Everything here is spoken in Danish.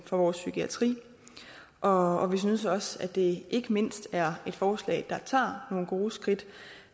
for vores psykiatri og og vi synes også at det ikke mindst er et forslag der tager nogle gode skridt